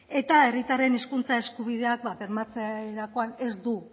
eta herritarren hezkuntza eskubideak bermatzerakoan ez du